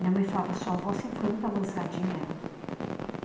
Minha mãe falava, sua avó sempre foi muito avançadinha